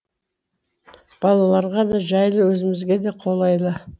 балаларға да жайлы өзімізге де қолайлы